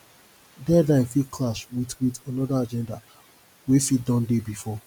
deadline fit clash wit wit anoda agenda wey fit don dey bifor